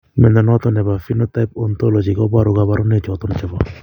Mnyondo noton nebo Phenotype Ontology koboru kabarunaik choton chebo